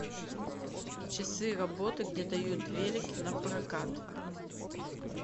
часы работы где дают велики на прокат